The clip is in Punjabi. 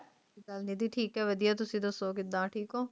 ਠੀਕ ਆਈ ਵਧੀਆ ਤੁਸੀਂ ਦੱਸੋ ਕਿੱਦਾਂ ਠੀਕ ਉਹ